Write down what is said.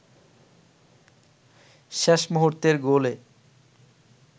শেষ মুহূর্তের গোলে